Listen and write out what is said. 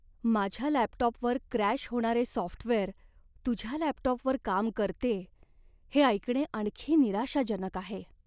माझ्या लॅपटॉपवर क्रॅश होणारे सॉफ्टवेअर तुझ्या लॅपटॉपवर काम करतेय हे ऐकणे आणखी निराशाजनक आहे.